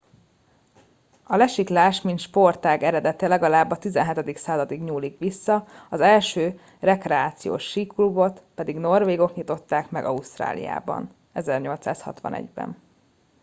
a lesiklás mint sportág eredete legalább a 17. századig nyúlik vissza az első rekreációs síklubot pedig norvégok nyitották meg ausztráliában 1861 ben